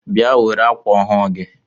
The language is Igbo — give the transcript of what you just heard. Bịa were akwa ọhụụ gị!